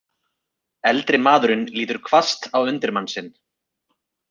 Eldri maðurinn lítur hvasst á undirmann sinn.